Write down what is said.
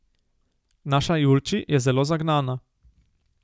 Naša Julči je zelo zagnana.